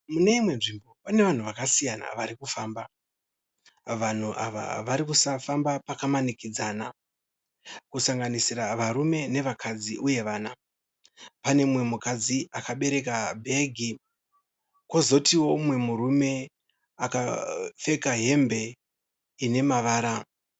Mune imwe nzvimbo pane vanhu vakasiyana varikufamba. vanhu ava varikufamba pakamanikidzana kusanganisira varume nevakadzi uye vana. pane mumwe mukadzi akabereka bhegi kozotio mumwe murume akapfeka hembe ine mavara.